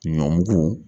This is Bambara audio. Ɲɔmugu